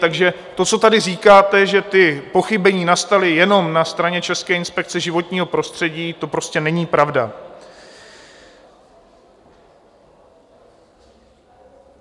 Takže to, co tady říkáte, že ta pochybení nastala jenom na straně České inspekce životního prostředí, to prostě není pravda.